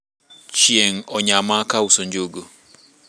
chieng onyama ka auso njugu